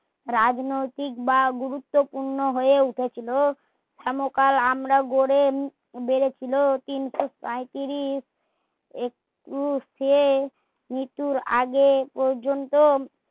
রাজনৈতিক বা গুরুত্বপূর্ণ হয়ে উঠেছিল হেনকালে আমরা গড়ে গড়েছিল তিনশো সাইতিরিশ সে নিতুর আগে পর্যন্ত